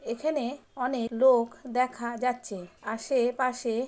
এখানে অনেক লোক দেখা যাচ্ছে আসে পাশে।